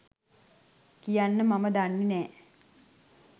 කියන්න මම දන්නේ නැ